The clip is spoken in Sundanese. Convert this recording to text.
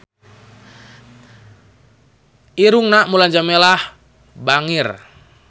Irungna Mulan Jameela bangir